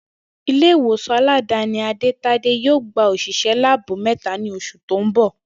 Ilé ìwòsàn aládàáni Ade-Tade yóò gba ò̩s̩ìs̩é̩ láàbù mé̩ta ní os̩ù tó ń bò̩